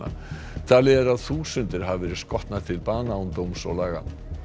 talið er að þúsundir hafi verið skotnar til bana án dóms og laga